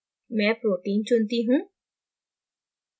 मैं protein चुनती हूँ